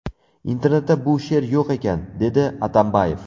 Internetda bu she’r yo‘q ekan”, dedi Atambayev.